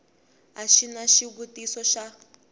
a xi na xivutiso xa